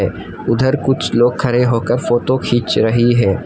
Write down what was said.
उधर कुछ लोग खड़े होकर फोटो खींच रही है।